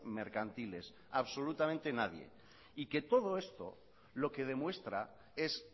mercantiles absolutamente nadie y que todo esto lo que demuestra es